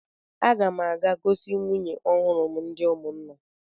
Aga m a ga-gosi nwunye m ọhụrụ ndị ụmụnna.